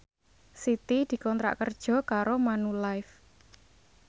Siti dikontrak kerja karo Manulife